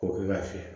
K'o kɛ ka fiyɛ